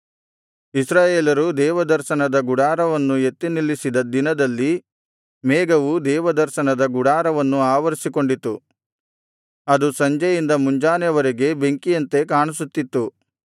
ಇಸ್ರಾಯೇಲರು ದೇವದರ್ಶನದ ಗುಡಾರವನ್ನು ಎತ್ತಿ ನಿಲ್ಲಿಸಿದ ದಿನದಲ್ಲಿ ಮೇಘವು ದೇವದರ್ಶನದ ಗುಡಾರವನ್ನು ಆವರಿಸಿಕೊಂಡಿತು ಅದು ಸಂಜೆಯಿಂದ ಮುಂಜಾನೆಯವರೆಗೆ ಬೆಂಕಿಯಂತೆ ಕಾಣಿಸುತ್ತಿತ್ತು